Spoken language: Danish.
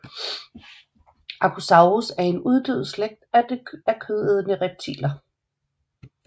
Archosaurus er en uddød slægt af kødædende reptiler